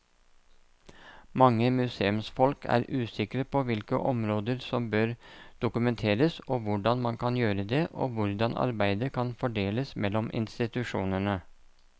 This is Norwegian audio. Mange museumsfolk er usikre på hvilke områder som bør dokumenteres, hvordan man kan gjøre det og hvordan arbeidet kan fordeles mellom institusjonene.